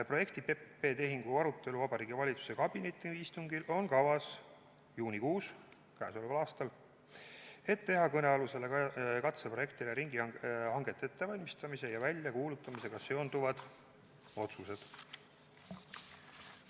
Projekti PPP-tehingu arutelu Vabariigi Valitsuse kabinetiistungil on kavas teha k.a juunikuus, et teha kõnealusele katseprojektile riigihangete ettevalmistamise ja väljakuulutamisega seonduvad otsused.